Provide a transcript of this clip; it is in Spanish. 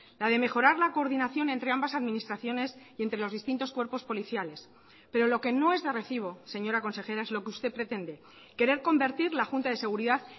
la de mejorar la coordinación entre ambas administraciones y entre los distintos cuerpos policiales pero lo que no es de recibo señora consejera es lo que usted pretende querer convertir la junta de seguridad